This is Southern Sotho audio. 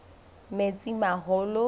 metsimaholo